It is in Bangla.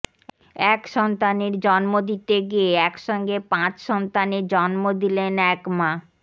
এক সন্তানের জন্ম দিতে গিয়ে একসঙ্গে পাঁচ সন্তানের জন্ম দিলেন এক মা